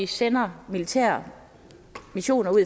sender militære missioner